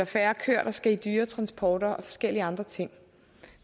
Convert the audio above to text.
færre køer der skal i dyretransporter og forskellige andre ting